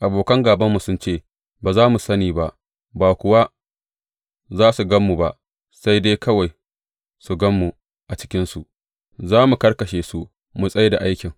Abokan gābanmu sun ce, Ba za su sani ba, ba kuwa za su gan mu ba, sai dai kawai su gan mu a cikinsu, za mu karkashe su, mu tsai da aikin.